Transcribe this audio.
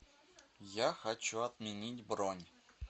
я хочу отменить бронь